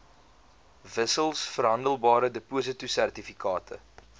wissels verhandelbare depositosertifikate